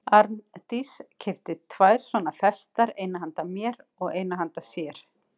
Arndís keypti tvær svona festar, eina handa mér og eina handa sér.